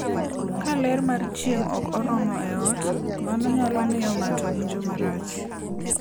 Ka ler mar chieng' ok oromo e ot, mano nyalo miyo ng'ato owinj marach.